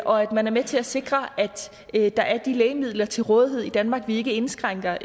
og at man er med til at sikre at der er de lægemidler til rådighed i danmark og vi ikke indskrænker